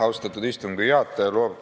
Austatud istungi juhataja!